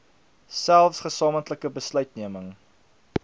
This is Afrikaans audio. selfs gesamentlike besluitneming